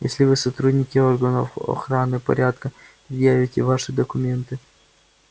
если вы сотрудники органов охраны порядка предъявите ваши документы